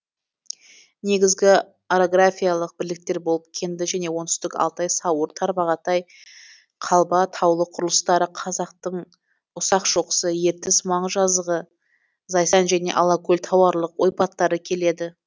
негізгі орографиялық бірліктер болып кенді және оңтүстік алтай сауыр тарбағатай қалба таулы құрылыстары қазақтың ұсақ шоқысы ертіс маңы жазығы зайсан және алакөл тауарлық ойпаттары келеді